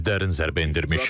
Biz dərin zərbə endirmişik.